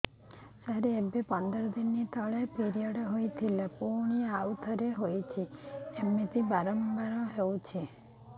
ସାର ଏବେ ପନ୍ଦର ଦିନ ତଳେ ପିରିଅଡ଼ ହୋଇଥିଲା ପୁଣି ଆଉଥରେ ହୋଇଛି ଏମିତି ବାରମ୍ବାର ହଉଛି